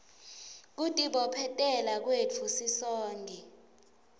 kutibophetela kwetfu sisonkhe